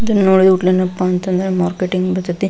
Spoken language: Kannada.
ಇದನ್ನ ನೋಡಿದ ಕುಡ್ಲೆ ಏನಪ್ಪಾ ಅಂತಂದ್ರೆ ಮಾರ್ಕೆಟಿಂಗ್ ಜೊತೆ --